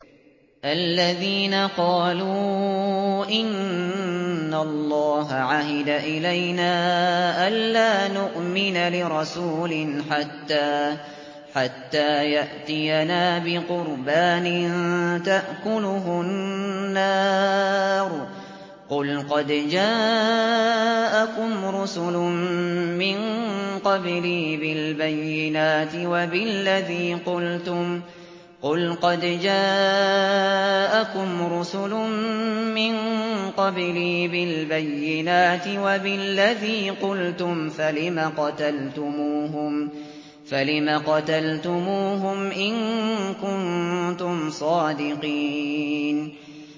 الَّذِينَ قَالُوا إِنَّ اللَّهَ عَهِدَ إِلَيْنَا أَلَّا نُؤْمِنَ لِرَسُولٍ حَتَّىٰ يَأْتِيَنَا بِقُرْبَانٍ تَأْكُلُهُ النَّارُ ۗ قُلْ قَدْ جَاءَكُمْ رُسُلٌ مِّن قَبْلِي بِالْبَيِّنَاتِ وَبِالَّذِي قُلْتُمْ فَلِمَ قَتَلْتُمُوهُمْ إِن كُنتُمْ صَادِقِينَ